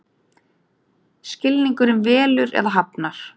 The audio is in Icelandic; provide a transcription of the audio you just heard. Skilningurinn velur eða hafnar.